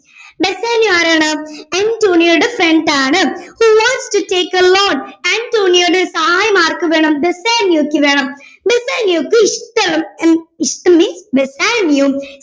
Bassanio ആരാണ് അന്റോണിയോയുടെ friend ആണ് who wants to take a loan അന്റോണിയോയുടെ സാഹായം ആർക്ക് വേണം ബസ്സാനിയോയ്ക്ക് വേണം ബസ്സാനിയോയ്ക്ക് ഇഷ്ടോ അഹ് ഇഷ്ടം means ബസ്സാനിയോ